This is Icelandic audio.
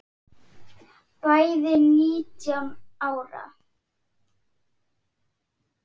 Bæði nítján ára.